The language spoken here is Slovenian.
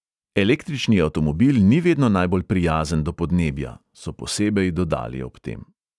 Električni avtomobil ni vedno najbolj prijazen do podnebja, so posebej dodali ob tem.